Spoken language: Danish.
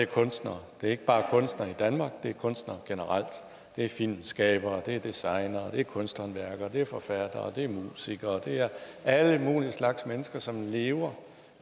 kunstnere det er ikke bare kunstnere i danmark det er kunstnere generelt det er filmskabere det er designere det er kunsthåndværkere det er forfattere det er musikere det er alle mulige slags mennesker som lever